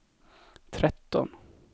tretton